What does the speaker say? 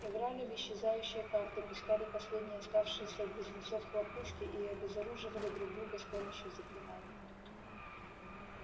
играли в исчезающие карты пускали последние оставшиеся у близнецов хлопушки и обезоруживали друг друга с помощью заклинаний